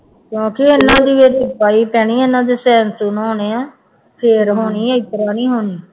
ਕਿਉਂਕਿ ਇਹਨਾਂ ਦੀ ਜਿਹੜੀ ਪੈਣੀ ਇਹਨਾਂ ਦੇ ਸਾਇਨ ਸੂਨ ਹੋਣੇ ਆਂ, ਫਿਰ ਹੋਣੀ ਹੈ ਇਸ ਤਰ੍ਹਾਂ ਨੀ ਹੋਣੀ